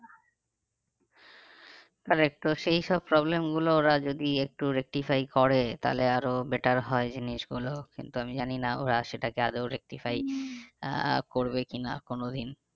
আর একটু সেই সব problem গুলো ওর যদি একটু rectify করে তাহলে আরো better হয় জিনিসগুলো কিন্তু আমি জানি না ওরা সেটাকে আদেও rectify আহ করবে কি না কোনো দিন।